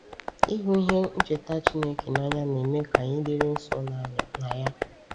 Ịhụ ihe ncheta Chineke n’anya na-eme ka anyị dịrị nso na ya.